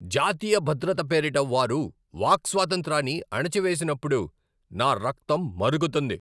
జాతీయ భద్రత పేరిట వారు వాక్స్వాతంత్రాన్ని అణచివేసినప్పుడు నా రక్తం మరుగుతుంది.